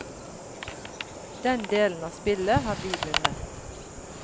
Den delen av spillet har de vunnet.